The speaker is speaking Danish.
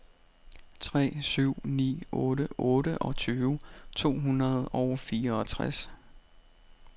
tre syv ni otte otteogtyve to hundrede og fireogtres